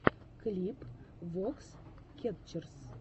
клип вокс кетчерз